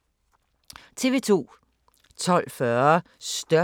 TV 2